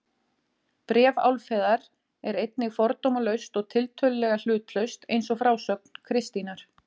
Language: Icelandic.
Bréf Álfheiðar er einnig fordómalaust og tiltölulega hlutlaust eins og frásögn Kristínar.